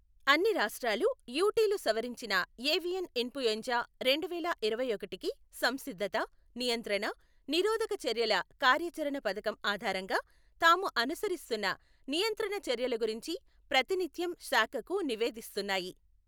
అన్ని రాష్ట్రాలు యుటిలు సవరించిన ఏవియన్ ఇన్ఫూయెన్జా రెండువేల ఇరవై ఒకటికి సంసిద్ధత, నియంత్రణ, నిరోధక చర్యల కార్యాచరణ పథకం ఆధారంగా తాము అనుసరిస్తున్న నియంత్రణ చర్యల గురించి ప్రతినిత్యం శాఖకు నివేదిస్తున్నాయి.